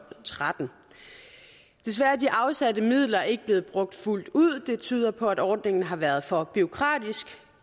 tretten desværre er de afsatte midler ikke blevet brugt fuldt ud det tyder på at ordningen har været for bureaukratisk